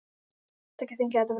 Vertu ekki að þenkja þetta, frændi.